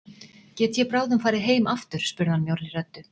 Get ég bráðum farið heim aftur spurði hann mjórri röddu.